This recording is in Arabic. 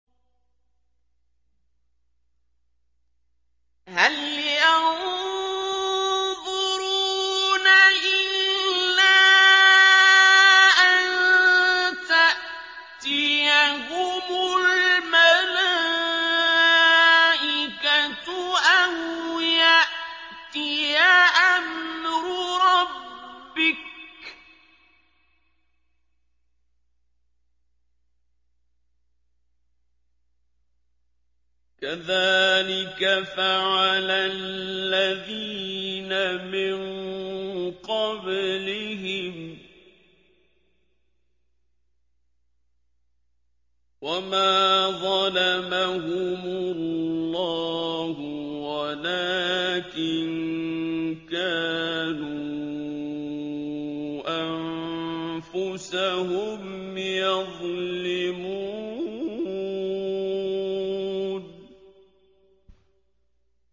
هَلْ يَنظُرُونَ إِلَّا أَن تَأْتِيَهُمُ الْمَلَائِكَةُ أَوْ يَأْتِيَ أَمْرُ رَبِّكَ ۚ كَذَٰلِكَ فَعَلَ الَّذِينَ مِن قَبْلِهِمْ ۚ وَمَا ظَلَمَهُمُ اللَّهُ وَلَٰكِن كَانُوا أَنفُسَهُمْ يَظْلِمُونَ